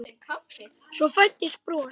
Svo fæddist bros.